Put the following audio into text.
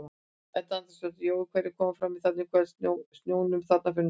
Edda Andrésdóttir: Jói hverjir koma fram þarna í kvöld í snjónum þarna fyrir norðan?